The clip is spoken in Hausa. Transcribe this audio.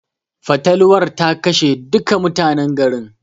Fatalwar ta kashe duka mutanen garin.